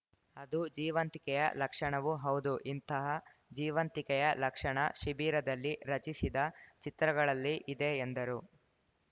ಅದು ಜೀವಂತಿಕೆಯ ಲಕ್ಷಣವೂ ಹೌದು ಇಂತಃ ಜೀವಂತಿಕೆಯ ಲಕ್ಷಣ ಆ ಶಿಬಿರದಲ್ಲಿ ರಚಿಸಿದ ಚಿತ್ರಗಳಲ್ಲಿ ಇದೆ ಎಂದರು